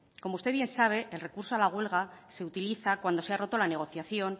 como usted bien sabe el recurso de la huelga se utiliza cuando se ha roto la negociación